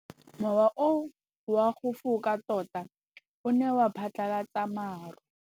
Mowa o wa go foka tota o ne wa phatlalatsa maru.